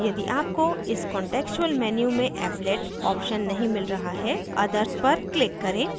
यदि आपको इस contextual menu में applet option नहीं मिल रहा है other पर click करें